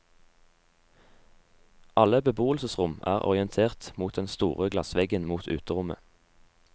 Alle beboelsesrom er orientert mot den store glassveggen mot uterommet.